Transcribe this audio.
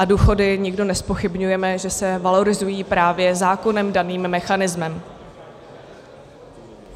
A důchody nikdo nezpochybňujeme, že se valorizují právě zákonem daným mechanismem.